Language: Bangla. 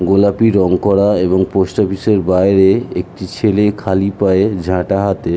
গোলাপি রং করা এবং পোস্ট অফিস -এর বাইরে একটি ছেলে খালি পায়ে ঝাঁটা হাতে--